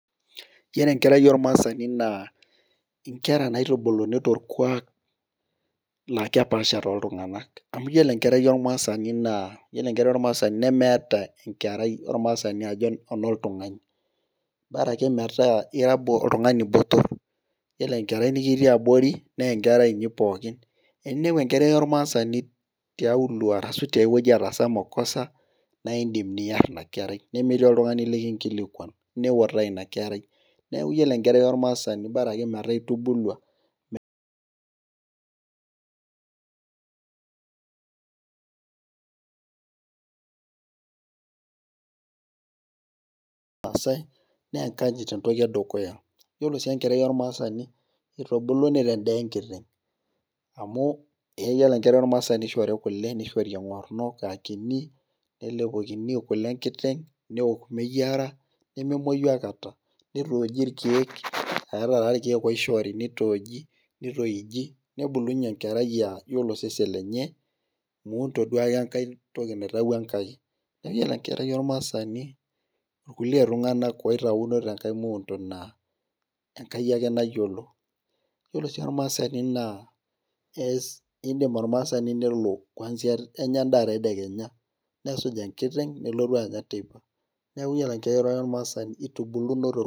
iyiolo enkerai ormaasani naa nkera naitubuluni torkuaak, naa kepaasha tooltunganak. amu iyiolo enkerai ormaasani naa, iyiolo enkerai ormaasani nemeeta enkerai ormaasani ajo enoltungani metaa, ira oltungani botor. iyiolo enkerai niktii abori, naa enkerai ninye pookin, eninepu enkerai ormaasani tiaulo arasu tiae wueji etaasa makosa naa idim nar ina kerai, nemetii oltungani likinkilikuan. niutaa ina kerai, neku iyiolo enkerai ormaasani bora ake metaa intubuluamaasae, naa enkayit entoki edukuya. iyiolo sii enkerai rmasani itubuluni te daa enkiteng amu iyiiolo enkerai ormaasani ishori kule, eng'orno aakinyi. nelepokini kule enkiteng',neok meyiara, nemeuoi aikata. nitooji irkeek. eeeta taa irkeek oishori nitooiji. nebulunye enkerai aa iyiolo osesen lenye, muu nto duake enkae toki naitayio Enkai. iyiolo enkerai ormaasani kitua tunganak oitauna tenkae muundo naa Enkai ake nayiolo, iyiolo oshi olmaasani naa ees idim olmaasani nelo, kuansia enya edaa tedekenya, nesuj enkiteng nelotu anya teipa. neeku iyiolo enkerai ormaasani itubuluno tolkuaak.